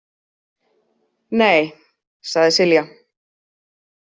Nei, sagði Silja.